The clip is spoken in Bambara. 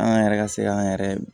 An yɛrɛ ka se k'an yɛrɛ